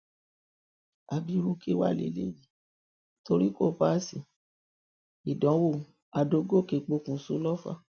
àbí irú kí wàá lélẹyìí nítorí tí kò páàsì ìdánwò àdògòkè pokùṣọ lọfà